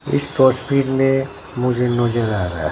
इस तस्वीर में मुझे नजर आ रहा है।